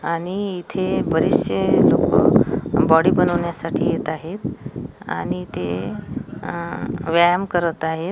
आणि इथे बरेचशे लोकं बॉडी बनवण्यासाठी येत आहेत आणि ते व्यायाम करत आहेत.